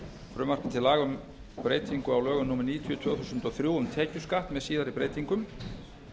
frumvarpi til laga um breytingu á lögum númer níutíu tvö þúsund og þrjú um tekjuskatt með síðari breytingum